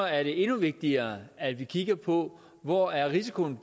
er det endnu vigtigere at vi kigger på hvor risikoen